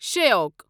Shyok